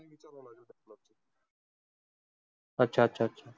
अच्छा अच्छा अच्छा.